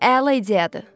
Əla ideyadır.